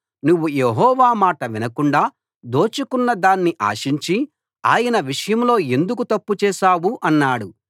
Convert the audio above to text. నువ్వు యెహోవా మాట వినకుండా దోచుకున్న దాన్ని ఆశించి ఆయన విషయంలో ఎందుకు తప్పు చేశావు అన్నాడు